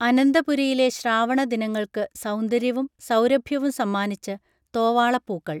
അനന്തപുരിയിലെ ശ്രാവണ ദിനങ്ങൾക്ക് സൗന്ദര്യവും സൗരഭ്യവും സമ്മാനിച്ച് തോവാളപ്പൂക്കൾ